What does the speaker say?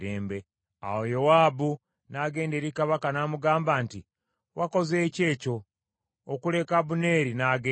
Awo Yowaabu n’agenda eri kabaka n’amugamba nti, “Wakoze ki ekyo, okuleka Abuneeri n’agenda?